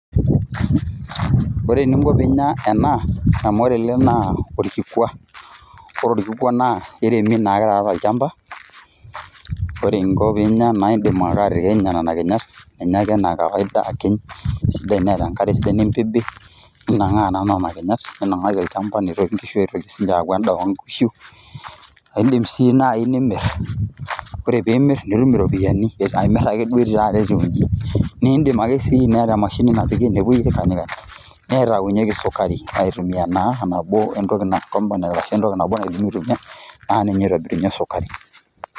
Ore eninko pinya ena, amu ore naa orkikua. Ore orkikua naa, kiremi naake taata tolchamba, ore nko pinya na iidim ake atikinyu nena kinyat, ninya ake enaa kawaida, akiny, si tenaa enkare sidai nimbibi, ninang'aa naa nena kinyat, ninang'aki olchamba, nintoki nkishu aitoki sinche aaku endaa onkishu. Aidim si nai nimir. Ore pimir, nitum iropiyiani. Amir ake duo taata etiu iji. Nidim ake si teniata emashini napkiki, nepoi aikanyikany, nitaunyeki sukari. Aitumia naa enabo entoki na component arashu entoki nabo naidimi aitumia, na ninye itobirunye sukari.